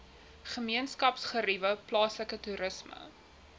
gemeenskapsgeriewe plaaslike toerisme